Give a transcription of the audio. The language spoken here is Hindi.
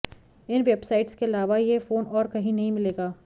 इन वेबसाइट्स के अलावा यह फोन और कहीं नहीं मिलेगा